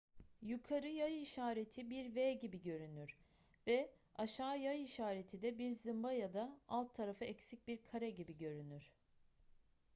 yukarı yay işareti bir v gibigörünür ve aşağı yay işareti de bir zımba ya da alt tarafı eksik bir kare gibi görünür